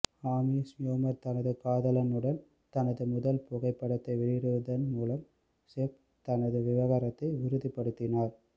ஆமி ஷ்யூமர் தனது காதலனுடன் தனது முதல் புகைப்படத்தை வெளியிடுவதன் மூலம் செஃப் தனது விவகாரத்தை உறுதிப்படுத்தினார்